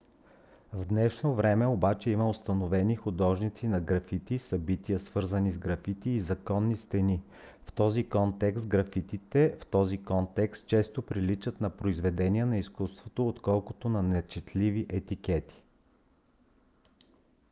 в днешно време обаче има установени художници на графити събития свързани с графити и законни стени. в този контекст графитите в този контекст често приличат на произведения на изкуството отколкото на нечетливи етикети